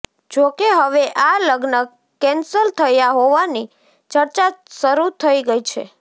જોકે હવે આ લગ્ન કેન્સલ થયા હોવાની ચર્ચા શરૂ થઈ ગઈ છે